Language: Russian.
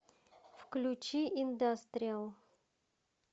включи индастриал